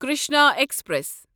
Krishna express